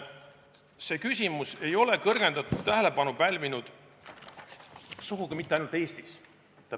See küsimus ei ole kõrgendatud tähelepanu pälvinud sugugi mitte ainult Eestis.